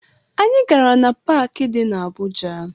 Anyị gara na paakị dị na Abuja